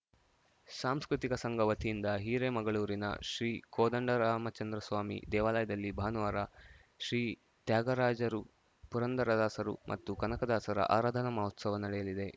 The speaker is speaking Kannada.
ಸಾಂಸ್ಕೃತಿಕ ಸಂಘ ವತಿಯಿಂದ ಹಿರೇಮಗಳೂರಿನ ಶ್ರೀ ಕೋದಂಡರಾಮಚಂದ್ರಸ್ವಾಮಿ ದೇವಾಲಯದಲ್ಲಿ ಭಾನುವಾರ ಶ್ರೀ ತ್ಯಾಗರಾಜರು ಪುರಂದರದಾಸರು ಮತ್ತು ಕನಕದಾಸರ ಆರಾಧನಾ ಮಹೋತ್ಸವ ನಡೆಯಲಿದೆ